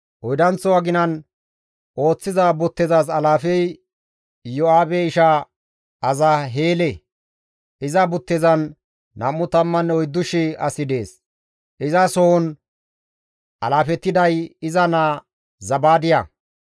Oydanththo aginan ooththiza buttezas alaafey Iyo7aabe isha Asaheele; iza buttezan 24,000 asi dees; izasohon alaafetiday iza naa Zabaadiya.